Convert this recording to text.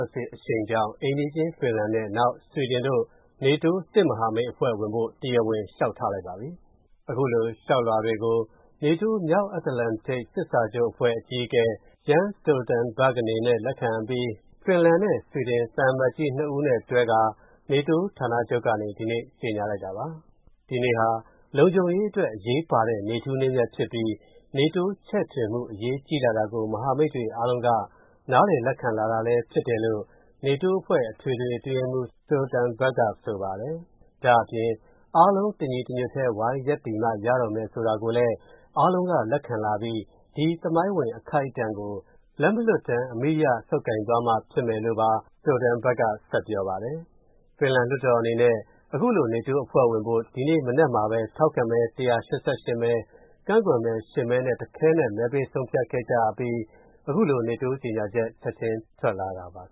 ာ်စစ်အရှိန်ကြောင့် အိမ်နီးချင်းဖင်လန်နဲ့ နောက် ဆွီဒင်တို့ နေတိုး စစ်မဟာမိတ်အဖွဲ့ဝင်ဖို့ တရားဝင် လျှောက်ထားလိုက်ပါပြီ။ အခုလိုလျှောက်လွှာတွေကို နေတိုး မြောက်အတ္တလန်တစ်စစ်စာချုပ်အဖွဲ့ အကြီးအကဲ Jens Stoltenberg ကလက်ခံပြီးတဲ့နောက် ဖင်လန်နဲ့ ဆွီဒင်သံအမတ်ကြီး ၂ ဦးနဲ့တွဲပြီး နေတိုးဌာနချုပ်ကနေ ဒီနေ့ ကြေညာလိုက်တာပါ။ ဒီနေ့ဟာ လုံခြုံရေးအတွက်အရေးပါတဲ့ နေ့ထူးနေ့မြတ်ဖြစ်ပြီး နေတိုးချဲ့ထွင်မှု အရေးကြီးလာတာကို မဟာမိတ်တွေအားလုံးက နားလည်လက်ခံလာတာလည်းဖြစ်တယ်လို့ နေတိုးအဖွဲ့ အထွေထွေအတွင်းရေးမှူး Stolenberg က ဆိုပါတယ်။ ဒါ့အပြင် အားလုံး တညီတညွတ်တည်း ဝိုင်းရပ်တည်မှရတော့မယ်ဆိုတာကိုလည်း အားလုံးက လက်ခံလာပြီး ဒီ သမိုင်းဝင်အခိုက်အတန့်ကို လက်မလွှတ်တမ်း အမိအရဆုပ်ကိုင်သွားမှ ဖြစ်မယ်လို့ Stoltenberg က ဆက်ပြောပါတယ်။ ဖင်လန်လွှတ်တော်အနေနဲ့ အခုလို နေတိုးအဖွဲ့ဝင်ဖို့ ဒီနေ့ မနက်မှာပဲ ထောက်ခံမဲ ၁၈၈ မဲ၊ ကန့်ကွက်မဲ ၈ မဲနဲ့ တခဲနက် မဲပေးဆုံးဖြတ်ခဲ့ကြအပြီး အခုလို နေတိုး ကြေညာချက် ချက်ချင်း ထွက်လာတာပါ။